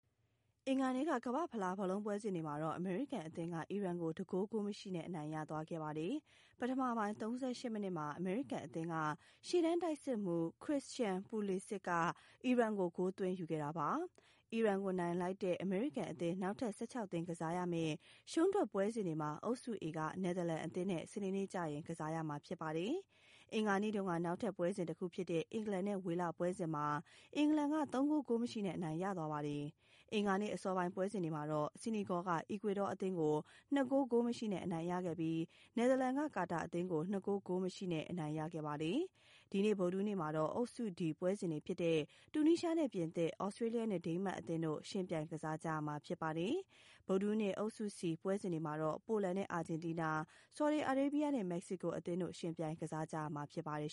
အင်္ဂါနေ့က ကမ္ဘာ့ဖလား ဘောလုံးပွဲစဉ်တွေမှာ အမေရိကန်အသင်းက အီရန်ကို ၁ ဂိုး၊ ဂိုးမရှိနဲ့ အနိုင်ရသွားပါတယ်။ ပထမပိုင်း ၃၈ မိနစ်မှာ အမေရိကန် အသင်းက ရှေ့တန်းတိုက်စစ်မှူး Christian Pulisic က အီရန်ကို ဂိုးသွင်းယူခဲ့တာပါ။ အီရန်ကို နိုင်လိုက်တဲ့ အမေရိကန် အသင်း နောက်ထပ် ၁၆ သင်း ကစားရမယ့် ရှုံးထွက်ပွဲစဉ်မှာတော့ အုပ်စု A က နယ်သာလန်အသင်းနဲ့ စနေနေ့မှာ ကစားရမှာ ဖြစ်ပါတယ်။ အင်္ဂါနေ့က နောက်ထပ်ပွဲစဉ် တခုဖြစ်တဲ့ အင်္ဂလန်နဲ့ ဝေလပွဲစဉ်မှာ အင်္ဂလန်က ၃ ဂိုး၊ ဂိုးမရှိနဲ့ အနိုင်ရသွားပါတယ်။ အင်္ဂါနေ့ အစောပိုင်း ပွဲစဉ်တွေမှာတော့ ဆီနီဂေါက အီကွေဒေါအသင်းကို ၂ ဂိုး ၁ ဂိုးနဲ့ အနိုင်ရခဲ့ပြီး နယ်သာလန်က ကာတာအသင်းကို ၂ ဂိုး ဂိုးမရှိနဲ့ အနိုင်ရခဲ့ပါတယ်။ ဒီနေ့ ဗုဒဟူးနေ့မှာတော့ အုပ်စု D ပွဲစဉ်တွေဖြစ်တဲ့ တူနီးရှားနဲ့ ပြင်သစ်၊ သြစတြေးလျနဲ့ ဒိန်းမတ်အသင်းတို့ ယှဉ်ပြိုင်ကစားကြမှာ ဖြစ်ပါတယ်။ ဗုဒဟူးနေ့ အုပ်စု C ပွဲစဉ်တွေမှာတော့ ပိုလန်နဲ့ အာဂျင်တီးနား၊ ဆော်ဒီအာရေးဗျနဲ့ မက္ကဆီကိုအသင်းတို့ ယှဉ်ပြိုင်ကစားကြမှာ ဖြစ်ပါတယ်